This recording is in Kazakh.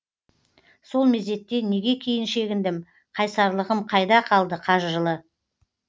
сол мезетте неге кейін шегіндім қайсарлығым қайда қалды қажырлы